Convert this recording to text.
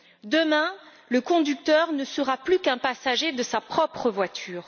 Demain, le conducteur ne sera plus qu'un passager de sa propre voiture.